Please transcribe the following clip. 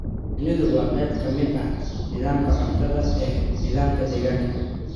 Shinnidu waa qayb ka mid ah nidaamka cuntada ee nidaamka deegaanka.